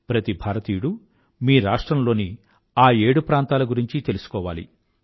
ప్రతి భారతీయుడూ మీ రాష్ట్రం లోని ఆ ఏడు ప్రాంతాల గురించీ తెలుసుకోవాలి